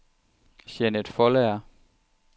Jeanett Foldager